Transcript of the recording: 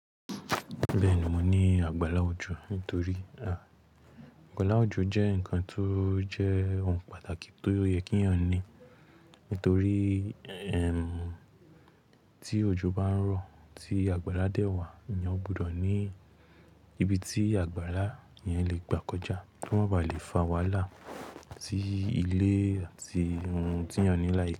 Bẹ́ẹ̀ni, mo ní àgbàlá òjọ̀ nítorí, àgbàlá òjọ̀ jẹ́ ǹkan tó jẹ́ ohun pàtàkì tó yẹ kí ẹ̀yàn ní. Nítorí ti òjọ̀ bá ń rọ̀, tí àgbàrá dẹ ìwà, ẹ̀yàn gbọdọ̀ ní ibi tí àgbàrá yẹn le gbà kọjá, kí wọ́n ba à lè fa wàhálà sí ilé àti ohun tí ẹ̀yàn ní láyé.